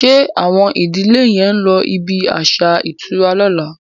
Ṣe Awon ìdílè yén ló ibí aṣa ìtura lọ̀la?